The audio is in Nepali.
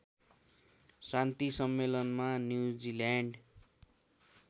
शान्ति सम्मेलनमा न्युजिल्याण्ड